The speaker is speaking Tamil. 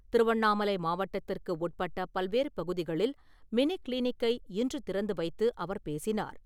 திருவண்ணாமலை மாவட்டத்திற்கு உட்பட்ட பல்வேறு பகுதிகளில் மினி கிளினிக்கை இன்று திறந்து வைத்து அவர் பேசினார்.